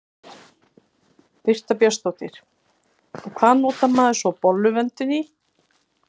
Birta Björnsdóttir: Og hvað notar maður svo bolluvöndinn í?